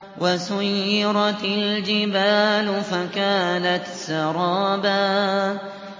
وَسُيِّرَتِ الْجِبَالُ فَكَانَتْ سَرَابًا